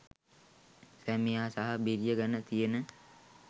සැමියා සහ බිරිය ගැන තියෙන